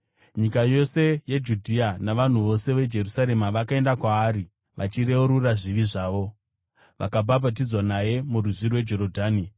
Nyika yose yeJudhea navanhu vose veJerusarema vakaenda kwaari. Vachireurura zvivi zvavo, vakabhabhatidzwa naye muRwizi rweJorodhani.